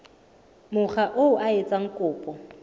mokga oo a etsang kopo